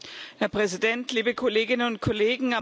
Herr Präsident, liebe Kolleginnen und Kollegen!